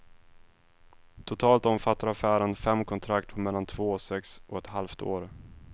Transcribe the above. Totalt omfattar affären fem kontrakt på mellan två och sex och ett halvt år.